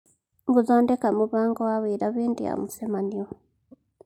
Gũthondeka mũbango wa wĩra hĩndĩ ya mũcemanio